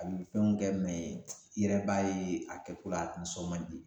A be fɛnw kɛ mɛ i yɛrɛ b'a ye a kɛ ko la a nisɔn man di